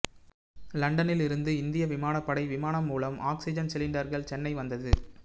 லண்டனில் இருந்து இந்திய விமானப்படை விமானம் மூலம் ஆக்சிஜன் சிலிண்டர்கள் சென்னை வந்தது